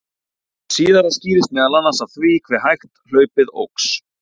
Hið síðara skýrist meðal annars af því hve hægt hlaupið óx.